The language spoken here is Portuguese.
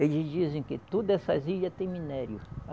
Eles dizem que todas essas ilhas tem minério.